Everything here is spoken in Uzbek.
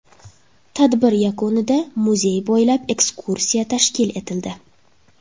Tadbir yakunida muzey bo‘ylab ekskursiya tashkil etildi.